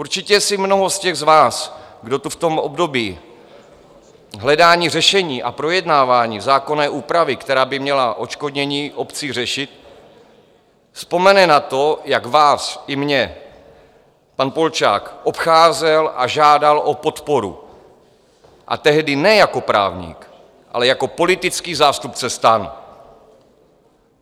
Určitě si mnoho z těch z vás, kdo to v tom období hledání řešení a projednávání zákonné úpravy, která by měla odškodnění obcí řešit, vzpomene na to, jak vás i mě pan Polčák obcházel a žádal o podporu, a tehdy ne jako právník, ale jako politický zástupce STAN.